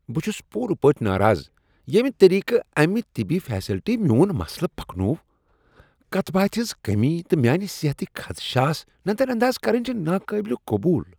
بہٕ چھس پورٕ پٲٹھۍ ناراض ییٚمہ طریقہٕ امہ طبی فیسلٹی میون مسلہٕ پکنوو۔ کتھ باتھ ہنز کمی تہٕ میانہِ صحتٕکۍ خدشات نظر انداز کرٕنۍ چھ ناقابل قبول۔